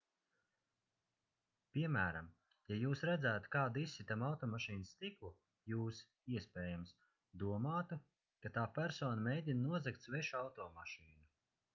piemēram ja jūs redzētu kādu izsitam automašīnas stiklu jūs iespējams domātu ka tā persona mēģina nozagt svešu automašīnu